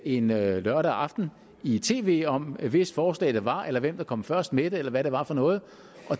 en lørdag aften i tv om hvis forslag det var eller hvem der kom først med det eller hvad det var for noget